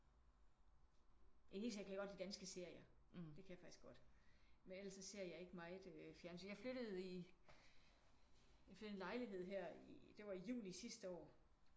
I det hele taget kan jeg godt lide danske serier. Det kan jeg faktisk godt men ellers så ser jeg ikke meget øh fjernsyn. Jeg flyttede i jeg flyttede i en lejlighed her i det var i juni sidste år